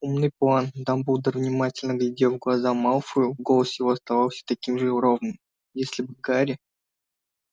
умный план дамблдор внимательно глядел в глаза малфою голос его оставался таким же ровным если бы гарри